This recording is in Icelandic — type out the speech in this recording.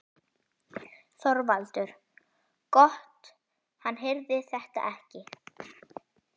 ÞORVALDUR: Gott hann heyrði þetta ekki.